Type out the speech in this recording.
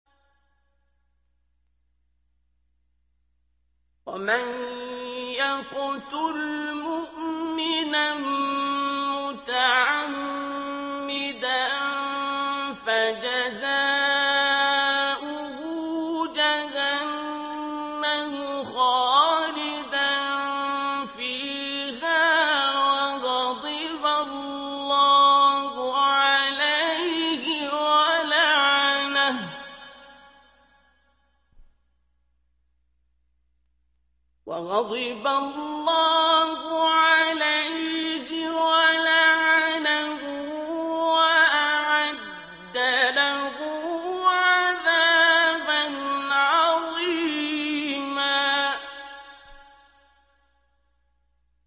وَمَن يَقْتُلْ مُؤْمِنًا مُّتَعَمِّدًا فَجَزَاؤُهُ جَهَنَّمُ خَالِدًا فِيهَا وَغَضِبَ اللَّهُ عَلَيْهِ وَلَعَنَهُ وَأَعَدَّ لَهُ عَذَابًا عَظِيمًا